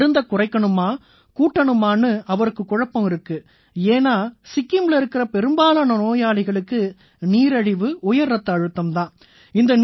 மருந்தைக் குறைக்கணுமா கூட்டணுமானு அவருக்குக் குழப்பம் இருக்கு ஏன்னா சிக்கிம்ல இருக்கற பெரும்பாலான நோயாளிங்களுக்கு நீரிழிவு உயர் ரத்த அழுத்தம் தான் உபாதைகள்